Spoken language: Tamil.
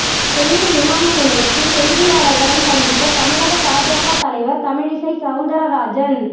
சென்னை விமானநிலையத்தில் செய்தியாளர்களை சந்தித்த தமிழக பாஜக தலைவர் தமிழிசை சவுந்தரராஜன்